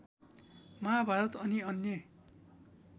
महाभारत अनि अन्य